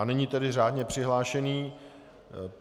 A nyní tedy řádně přihlášení.